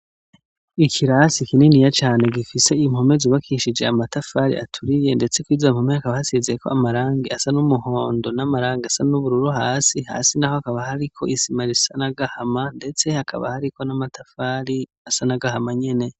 Ikirasi kininiya cane gifise impone zubakishije amatafari aturiye ndetse kwizo mpome hakaba hasize amarangi asa n'umuhondo n'amarangi asa n'ubururu hasi, hasi hakaba hariko isima risa nagahama Nyene ndetse hakaba Hariko n'amatafari asa nagahama Nyene.